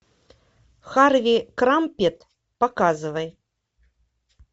харви крампет показывай